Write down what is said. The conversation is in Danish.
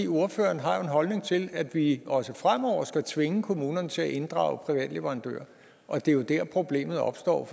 ordføreren har jo en holdning til at vi også fremover skal tvinge kommunerne til at inddrage private leverandører og det er jo der problemet opstår